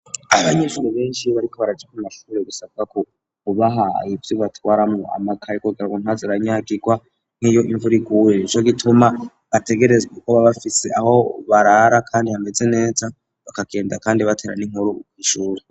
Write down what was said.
Abanyeshuri benshi iyo bariko barakina ku mashure barasaba ko bobaha ivyo botwaramwo amakaye kugirango ntazaranyagigwa nk'iyo imvura iguye, nico gituma ategerezwa kuba bafise aho barara kandi hameze neza bakagenda batera n'inkuru kw'ishuri.